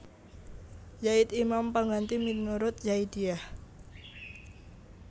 Zaid imam pangganti minurut Zaidiyah